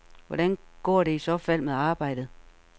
Hvordan går det i så fald med arbejdet?